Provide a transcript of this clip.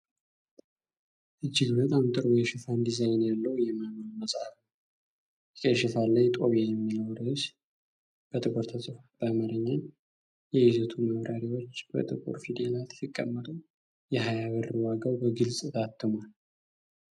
እጅግ በጣም ጥሩ የሽፋን ዲዛይን ያለው የማንዋል መጽሐፍ ነው። የቀይ ሽፋን ላይ "ጦቢያ" የሚለው ርዕስ በጥቁር ተጽፏል። በአማርኛ የይዘቱ ማብራሪያዎች በጥቁር ፊደላት ሲቀመጡ የሃያ ብር ዋጋው በግልጽ ታትሟል።